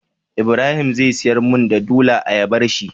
ibrahim zai siyar mun da dula ayabar shi?